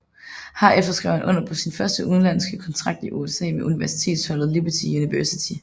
Herefter skrev han under på sin første udlandske kontrakt i USA med universitetsholdet Liberty University